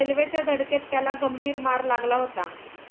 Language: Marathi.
रेल्वेच्या धडकेत त्याला गंभीर मार लागला होता.